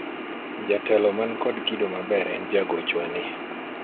jatelo man kod kido maber en jagochwa ni